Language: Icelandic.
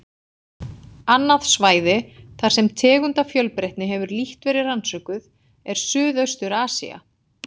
Annað svæði, þar sem tegundafjölbreytni hefur lítt verið rannsökuð, er Suðaustur-Asía.